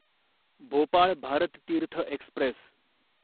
Bhopal Bharat Tirth Express